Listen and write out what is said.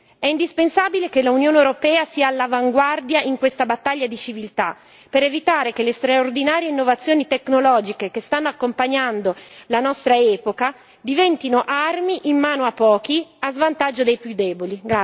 È indispensabile che l'Unione europea sia all'avanguardia in questa battaglia di civiltà per evitare che le straordinarie innovazioni tecnologiche che stanno accompagnando la nostra epoca diventino armi in mano a pochi a svantaggio dei più deboli.